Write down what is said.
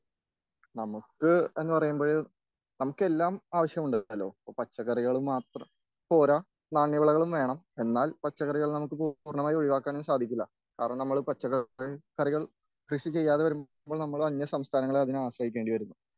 നമുക്ക് എന്ന് പറയുമ്പഴ് നമുക്ക് എല്ലാം ആവശ്യമുണ്ടല്ലോ പച്ചക്കറികൾ മാത്രം പോരാ നാണ്യവിളകളും വേണം.എന്നാൽ പച്ചക്കറികൾ നമുക്ക് പൂർണ്ണമായും ഒഴുവാക്കാൻ സാധിക്കില്ല.കാരണം പച്ചക്കറികൾ നമ്മൾ കൃഷി ചെയ്യാതെ വരുമ്പോൾ നമ്മൾ അന്യസംസ്ഥാനങ്ങളെ ആശ്രയിക്കേണ്ടി വരും.